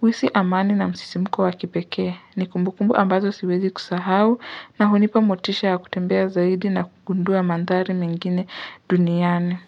huhisi amani na msisimuko wakipekee. Nikumbukumbu ambazo siwezi kusahau na hunipa motisha kutembea zaidi na kukundua mandhari mengine duniani.